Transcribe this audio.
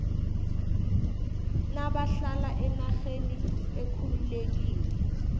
nabahlala enarheni ekhululekileko